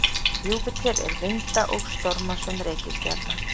Júpíter er vinda- og stormasöm reikistjarna.